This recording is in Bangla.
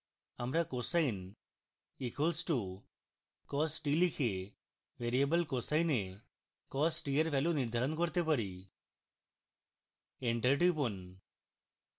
আমরা cosine equals to cos t লিখে variable cosine a cos t we value নির্ধারণ করতে পারি enter টিপুন